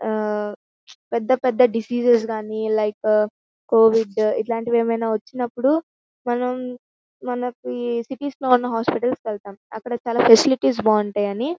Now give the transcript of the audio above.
ఆ పెద్ద పెద్ద డెసెసెస్ గని లికె కోవిద్ ఇలాంటివేవీ వచ్చినప్పుడు మనం మనకి సిటీస్ లో ఉన్న హాస్పెటల్స్ కి వెళ్తాము అక్కడ చాలా ఫెసిలిటీస్ బాగుంటాయని.